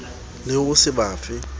le ho se ba fe